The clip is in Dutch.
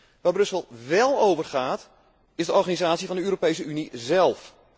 Waar Brussel wel over gaat, is de organisatie van de Europese Unie zelf.